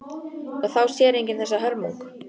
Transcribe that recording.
Og þá sér enginn þessa hörmung.